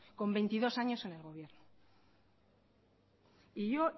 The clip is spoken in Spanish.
con veintidós años en el gobierno y yo